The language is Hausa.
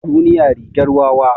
Duniya rigar wawa.